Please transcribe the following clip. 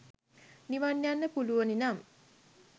නිවන් ‍යන්න පුලුවනි නම්